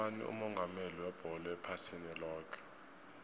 ngubani umongameli webholo ephasini loke